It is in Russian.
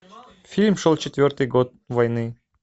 фильм шел четвертый год войны